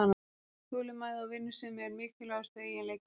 Þolinmæði og vinnusemi eru mikilvægustu eiginleikarnir